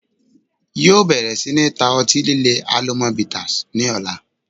Yóò bẹ̀rẹ̀ sí ní ta ọtí líle 'Alomọ bitters' ni ọ̀la